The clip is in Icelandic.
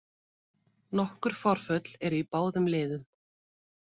Nokkur forföll eru í báðum liðum